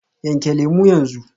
Yanke lemu yanzu.